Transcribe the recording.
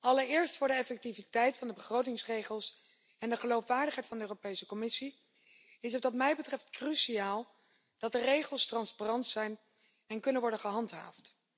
Allereerst, voor de effectiviteit van de begrotingsregels en de geloofwaardigheid van de Europese Commissie is het wat mij betreft cruciaal dat de regels transparant zijn en kunnen worden gehandhaafd.